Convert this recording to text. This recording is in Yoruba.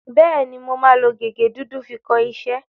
Bẹ́ẹ̀ni, mo máa lo gègé dúdú fi kọ iṣẹ́.